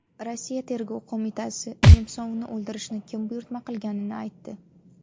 Rossiya tergov qo‘mitasi Nemsovni o‘ldirishni kim buyurtma qilganini aytdi.